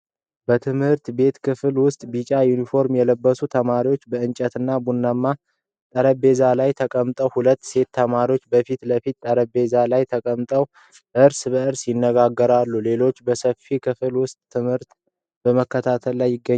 በትምህርት ቤት ክፍል ውስጥ፣ ቢጫ ዩኒፎርም የለበሱ ተማሪዎች በእንጨትና ቡናማ ጠረጴዛዎቻቸው ላይ ተቀምጠዋል። ሁለት ሴት ተማሪዎች በፊት ለፊት ጠረጴዛ ላይ ተቀምጠው እርስ በእርስ ይነጋገራሉ፣ ሌሎቹ በሰፊው ክፍል ውስጥ ትምህርቱን በመከታተል ላይ ይገኛሉ።